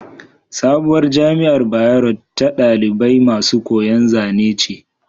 Sabuwar jamiar bayero ta ɗalibai masu koyan Zane ce